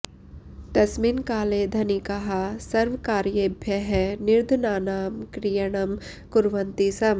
तस्मिन् काले धनिकाः स्वकार्येभ्यः निर्धनानां क्रयणं कुर्वन्ति स्म